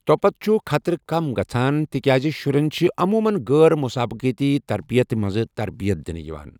تۄپتہٕ چھُ خطرٕ کم گژھَان تِکیٛازِ شُرٮ۪ن چھِ عموٗمَن غٲر مسابقتی ترتیبہِ منٛز تربیت دِوان۔